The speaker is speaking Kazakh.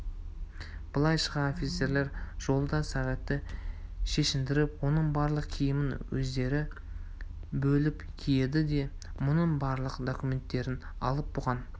былай шыға офицерлер жолда сағитты шешіндіріп оның барлық киімін өздері бөліп киеді де мұнын барлық документтерін алып бұған